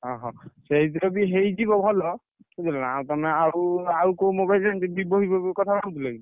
ଅହ ସେଇଥିରେ ବି ହେଇଯିବ ଭଲ ବୁଝିଲନା ଆଉ ତମେ ଆଉ ଆଉ କୋଉ mobile ଜାଣିଛ କି? Vivo ଫିବୋ କଥା ଭାବୁଥିଲ କି?